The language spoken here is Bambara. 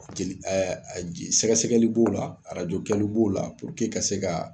Jeli ɛ a je sɛgɛsɛgɛli b'o la b'o radio kɛli b'o la puruke ka se ka se ka